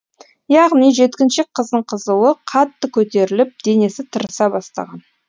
яғни жеткіншек қыздың қызуы қатты көтеріліп денесі тырыса бастаған